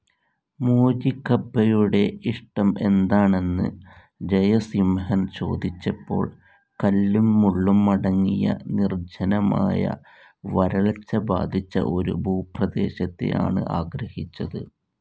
മോചികബ്ബെയുടെ ഇഷ്ടം എന്താണെന്ന് ജയസിംഹൻ ചോദിച്ചപ്പോൾ കല്ലും മുള്ളും അടങ്ങിയ നിർജ്ജനമായ വരൾച്ച ബാധിച്ച ഒരു ഭൂപ്രദേശത്തെ ആണ് ആഗ്രഹിച്ചത്.